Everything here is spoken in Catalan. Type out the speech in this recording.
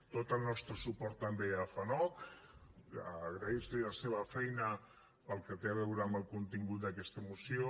tot el nostre suport també a fanoc agrair los la seva feina pel que té a veure amb el contingut d’aquest moció